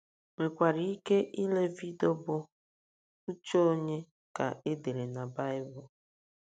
nwekwara ike ile vidio bụ́ Uche Ònye Ka E Dere na na Baịbụl?